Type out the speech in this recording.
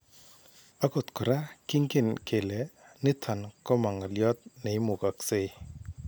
Akot koraa kingen kele niton koma ngolyoot neimukaksei